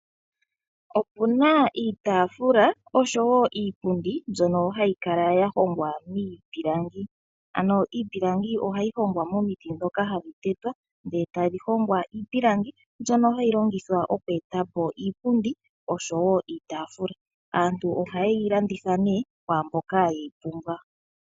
Opuna iitaafula osho woo iipundi mbyono hayi kala ya hongwa miipilangi. Ano iipilangi ohayi hongwa momiti ndhoka hadhi tetwa . Etadhi hongwa iipilangi mbyono hayi longithwa oku eta po iipundi osho woo iitaafula. Aantu ohaye yi landitha nee kwaamboka ye yi pumbwa.